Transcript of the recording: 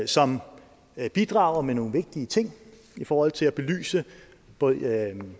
som bidrager med nogle vigtige ting i forhold til at belyse både